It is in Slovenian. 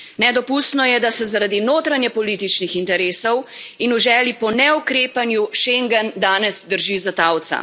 Nedopustno je, da se zaradi notranjepolitičnih interesov in v želji po neukrepanju, schengen danes drži za talca.